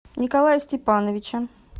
николая степановича